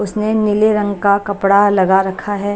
उसने नीले रंग का कपड़ा लगा रखा है।